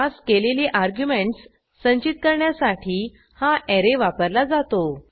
pass केलेली arguments संचित करण्यासाठी हा ऍरे वापरला जातो